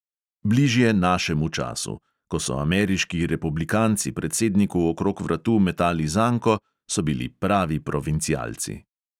Bližje našemu času: ko so ameriški republikanci predsedniku okrog vratu metali zanko, so bili pravi provincialci.